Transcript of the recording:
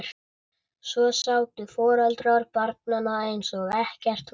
Svo sátu foreldrarnir bara eins og ekkert væri.